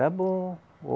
Está bom.